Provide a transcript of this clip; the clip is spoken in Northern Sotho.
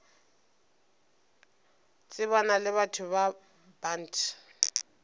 tsebana le batho ba bant